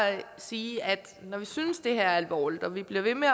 sige at når vi synes det her er alvorligt og vi bliver ved med